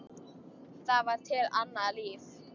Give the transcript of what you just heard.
Það var til annað líf.